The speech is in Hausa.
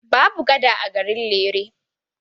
Babu gada a garin Lere.